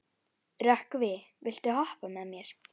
Rökkvi, viltu hoppa með mér?